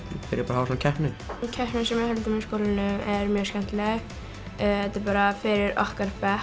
hafa svona keppni keppnin sem við höldum í skólanum er mjög skemmtileg þetta er bara fyrir okkar bekk